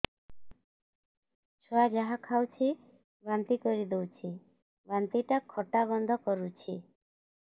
ଛୁଆ ଯାହା ଖାଉଛି ବାନ୍ତି କରିଦଉଛି ବାନ୍ତି ଟା ଖଟା ଗନ୍ଧ କରୁଛି